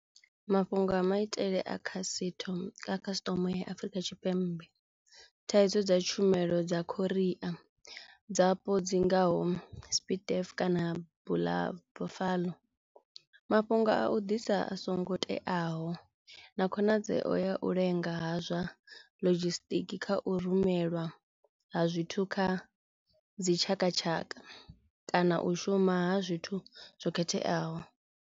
Mafhungo a maitele a khasitho a custom ya Afrika Tshipembe thaidzo dza tshumelo dza khoria dzapo dzi ngaho sa S_P_I_F kana bula Buffalo. Mafhungo a u ḓisa a songo teaho na khonadzeo ya u lenga ha zwa lodzhisitiki kha u rumelwa ha zwithu kha dzi tshakatshaka kana u shuma ha zwithu zwo khetheaho.